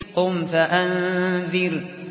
قُمْ فَأَنذِرْ